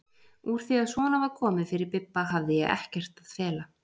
Úr því að svona var komið fyrir Bibba hafði ég ekkert að fela.